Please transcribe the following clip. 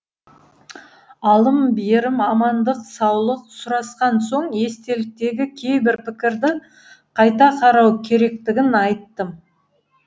алым берім амандық саулық сұрасқан соң естеліктегі кейбір пікірді қайта қарау керектігін айттым